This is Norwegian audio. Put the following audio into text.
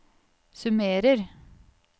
summerer